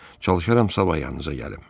Çalışaram sabah yanınıza gəlim.